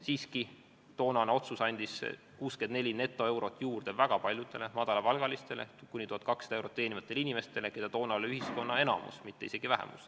Siiski, toonane otsus andis 64 netoeurot juurde väga paljudele madalapalgalistele, kuni 1200 eurot teenivatele inimestele, kes toona olid ühiskonnas enamuses, nad ei olnud mitte isegi vähemus.